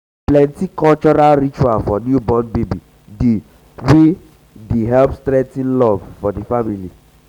plenty cultural ritual for newborn baby dey wey dey wey dey help strengthen love for family.